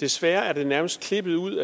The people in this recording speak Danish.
desværre er det nærmest klippet ud